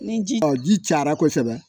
Ni ji ji cayara kosɛbɛ